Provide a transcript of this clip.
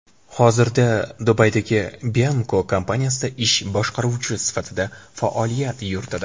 Hozirda Dubaydagi Bianco kompaniyasida ish boshqaruvchi sifatida faoliyat yuritadi.